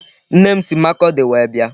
Nne m si Makurdi wee bịa.